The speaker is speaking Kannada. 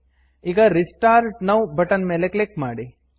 ಈಗ restart now restart now button ಮೇಲೆ ಕ್ಲಿಕ್ ಮಾಡಿ